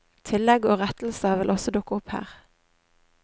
Tillegg og rettelser vil også dukke opp her.